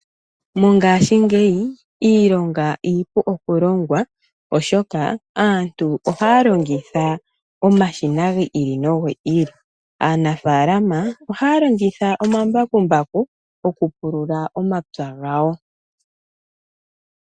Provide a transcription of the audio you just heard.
Mongaashingeyi iilonga iipu oku longwa oshoka aantu ohaya longitha omashina gi ili nogi ili. Aanafalama ohaya longitha omambakumbaku oku pulula omapya gawo.